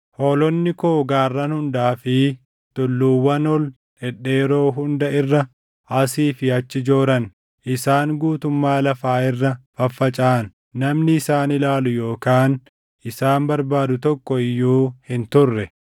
Hoolonni koo gaarran hundaa fi tulluuwwan ol dhedheeroo hunda irra asii fi achi jooran. Isaan guutummaa lafaa irra faffacaʼan; namni isaan ilaalu yookaan isaan barbaadu tokko iyyuu hin turre.